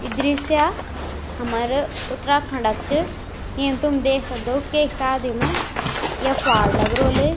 यु दृश्य हमारा उत्तराखण्ड क च येम तुम देख सक्दो केक शादी में ये फाड़ लगरोल।